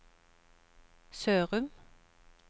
Sørum